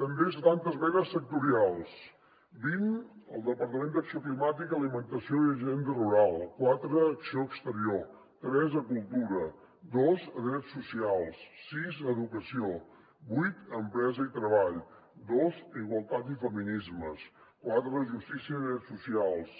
també setanta esmenes sectorials vint al departament d’acció climàtica alimentació i agenda rural quatre a acció exterior tres a cultura dos a drets socials sis a educació vuit a empresa i treball dos a igualtat i feminismes quatre a justícia i drets socials